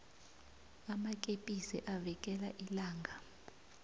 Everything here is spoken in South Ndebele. amakepisi avikela ilanga